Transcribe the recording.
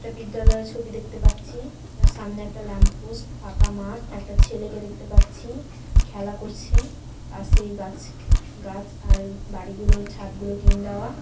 একটা বিদ্যালয়ের ছবি দেখতে পাচ্ছি তার সামনে একটা ল্যাম্প পোস্ট ফাঁকা মাঠ একটা ছেলেকে দেখতে পাচ্ছি। যে খেলা করছে আর সেই গাছ গাছ আর বাড়িগুলোর ছাদগুলো টিন দেওয়া।